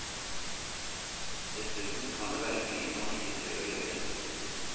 Dessuten kan det være mye man ikke tør å gjøre.